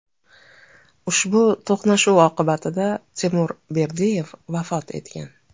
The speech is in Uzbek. Ushbu to‘qnashuv oqibatida Timur Berdiyev vafot etgan.